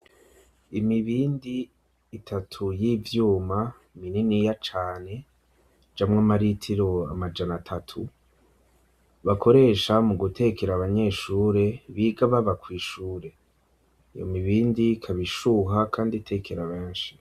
Imibindi itatu y'ivyuma minini ya cane ijamwo amaritiro amajana atatu bakoresha mu gutekera abanyeshure biga baba kw'ishure iyo mibindi ikaba ishuha kandi itekera benshi.